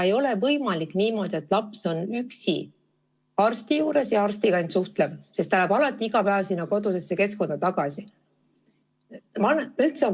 Ei ole võimalik niimoodi, et laps käib üksi arsti juures ja suhtleb ainult arstiga, sest ta läheb iga päev oma kodusesse keskkonda tagasi.